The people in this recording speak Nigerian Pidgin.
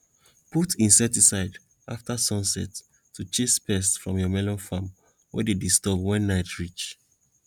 put insecticides afta sunset to chase pests from your melon farm wey dey disturb wen night reach